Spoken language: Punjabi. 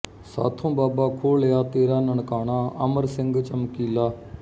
ਸਾਥੋਂ ਬਾਬਾ ਖੋਹ ਲਿਆ ਤੇਰਾ ਨਨਕਾਣਾ ਅਮਰ ਸਿੰਘ ਚਮਕੀਲਾ